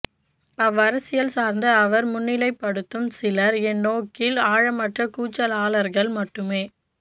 அவ்வரசியல் சார்ந்து அவர் முன்னிலைப்படுத்தும் சிலர் என் நோக்கில் ஆழமற்ற கூச்சலாளர்கள் மட்டுமே